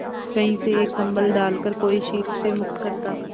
कहीं से एक कंबल डालकर कोई शीत से मुक्त करता